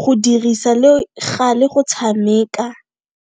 go dirisa le gale go tshameka.